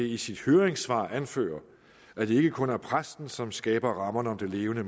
i sit høringssvar anfører at det ikke kun er præsten som skaber rammerne om det levende